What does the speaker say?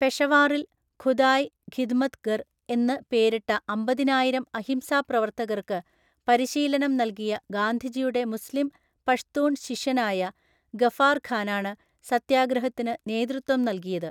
പെഷവാറിൽ ഖുദായ് ഖിദ്മത്ഗർ എന്ന് പേരിട്ടഅമ്പതിനായിരം അഹിംസാപ്രവർത്തകർക്ക് പരിശീലനം നൽകിയ ഗാന്ധിജിയുടെ മുസ്ലിം പഷ്തൂൺ ശിഷ്യനായ ഗഫാർ ഖാനാണ് സത്യാഗ്രഹത്തിന് നേതൃത്വം നൽകിയത്.